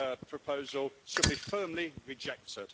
proposal should be firmly rejected.